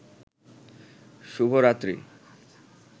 শুভরাত্রি